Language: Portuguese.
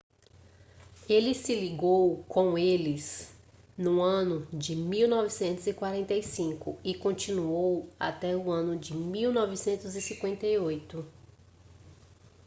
ele se ligou com eles no ano de 1945 e continuou até o ano de 1958